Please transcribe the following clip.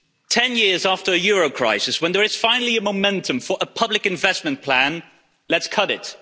Ten years after a euro crisis when there is finally a momentum for a public investment plan let's cut it.